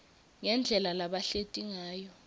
ngendlela labahleti ngayo